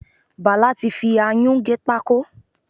Bàlá ti fi ayún gé pákó.